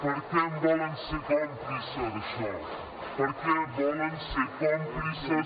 per què en volen ser còmplices d’això per què volen ser còmplices